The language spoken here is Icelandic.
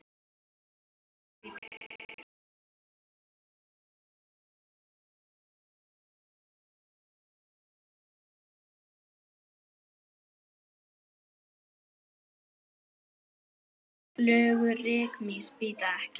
Flugur rykmýs bíta ekki.